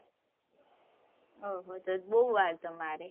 oho તો બહુ વાર તમારે